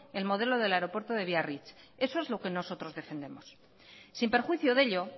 el modelo del aeropuerto de biarritz eso es lo que nosotros defendemos sin perjuicio de ello